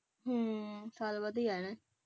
ਹਮ ਸਾਲ ਬਾਅਦ ਹੀ ਆ ਜਾਣਾ।